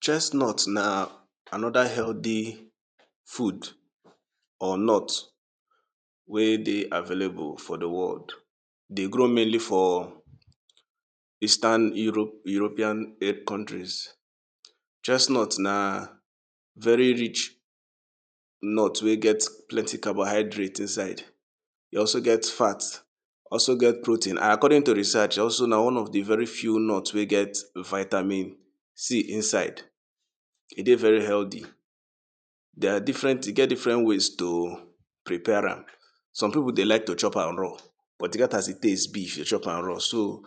Chestnut na another healthy food or nut wey dey available for di world. E dey grow mainly for eastern Europe, European countries. Chestnut na very rich nut wey get plenty carbohydrates inside, e also get fat, also get protein. According to research na also one of di very few nuts wey get vitamin C inside, e dey very healthy. Dey are different, e get different way to prepare am, some pipo dey like to chop am raw but e get as di taste be if you chop am raw so,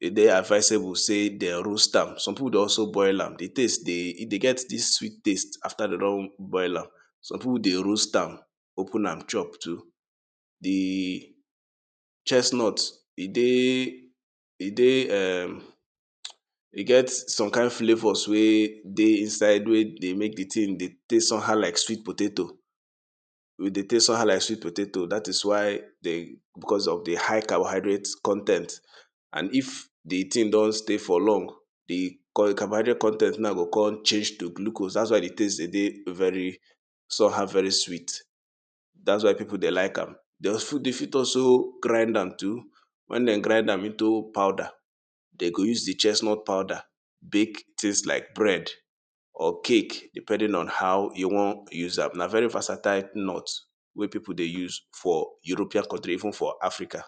e dey advisable sey de roast am, some pipo dey also boil am, di taste dey e dey get dis sweet taste after dey don boil am, some pipo dey roast am open am chop too. Di chestnut e dey, e dey um, e get some kind flavours wey dey inside wey dey mek di thing dey taste somehow like sweet potato, e dey taste somehow like sweet potato dat is why, becos of di high carbohydrate con ten t and if di thing don stay for long, di carbohydrate con ten t now go come change to glucose dats why di taste dey dey very, somehow very sweet, dats why pipo dey like am. Dey fit even also grind am too, wen dey grind am into powder, dey go use di chestnut powder bake things like bread or cake depending on how you wan use am. Na very versatile nut wey pipo dey use for European country even for Africa.